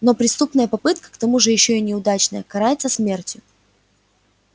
но преступная попытка к тому же ещё и неудачная карается смертью